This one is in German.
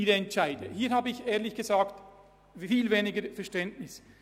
Doch hier habe ich ehrlich gesagt viel weniger Verständnis.